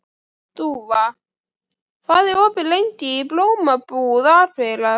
Dúfa, hvað er opið lengi í Blómabúð Akureyrar?